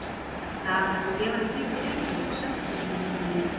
Dagana sem ég var um kyrrt í Reykjavík sökkti ég mér niðrí